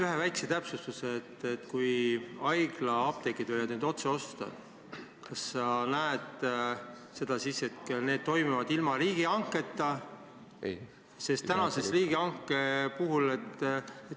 Üks väike täpsustus palun: kui haiglaapteegid võivad hakata otse ostma, kas see sinu arvates võiks toimuda ilma riigihanketa?